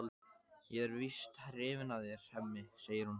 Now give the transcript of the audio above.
Ég er víst hrifin af þér, Hemmi, segir hún.